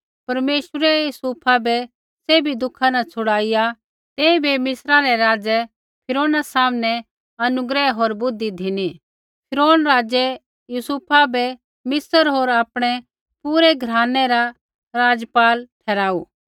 परमेश्वरै यूसुफा बै सैभी दुखा न छुड़ाईआ तेइबै मिस्रै रै राज़ै फिरौना सामनै अनुग्रह होर बुद्धि धिनी फिरौन राज़ै यूसुफा बै मिस्र होर आपणै पूरै घरानै रा राज़पाल ठहराऊ